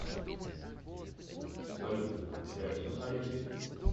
салют общаешься с алисой